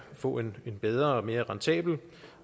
få en bedre og mere rentabel og